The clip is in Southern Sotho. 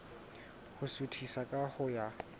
ho suthisa ka ho ya